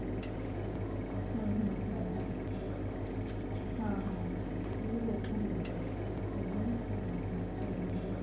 ਹਮ ਹਮ ਹਮ ਨਹੀਂ ਦੇਖੁੰਗੀ ਮੈਂ ਚੱਲ ਉਹ ਵੀ ਨਾ ਹਾਂ ਹਾਂ try ਕਰਕੇ